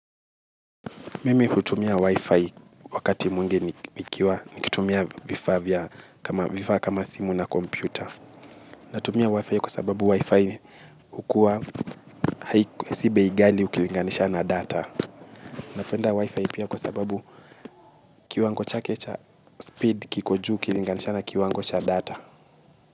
Mimi hutumia WIFI wakati mwingi nikiwa nikitumia vifaa kama simu na kompyuta. Natumia wifi kwa sababu wifi hukua si bei ghali ukilinganisha na data. Napenda wifi pia kwa sababu kiwango chake cha speed kiko juu ukilinganisha na kiwango cha data.